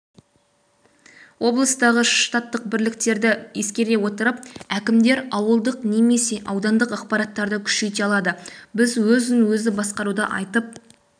облыстағы штаттық бірліктерді ескере отырып әкімдер ауылдық немесе аудандық аппараттарды күшейте алады біз өзін-өзі басқаруды айтып